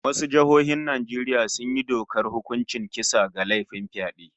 Wasu jihohin Najeriya sun yi dokar hukuncin kisa ga laifin fyade